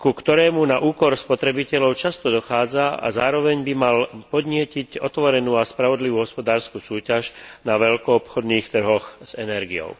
ku ktorému na úkor spotrebiteľov často dochádza, a zároveň by mal podnietiť otvorenú a spravodlivú hospodársku súťaž na veľkoobchodných trhoch s energiou.